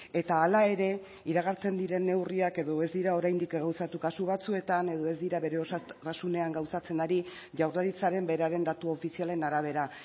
eta hala ere iragartzen diren neurriak edo ez dira oraindik gauzatu kasu batzuetan edo ez dira bere osotasunean gauzatzen ari jaurlaritzaren beraren datu ofizialen arabera